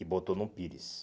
E botou num pires.